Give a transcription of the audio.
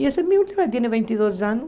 E essa é a minha última, tem vinte e dois anos.